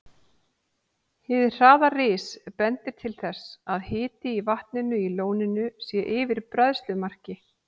Hið hraða ris bendir til þess, að hiti í vatninu í lóninu sé yfir bræðslumarki.